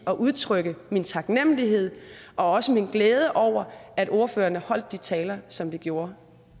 at udtrykke min taknemmelighed og også min glæde over at ordførerne havde holdt de taler som de gjorde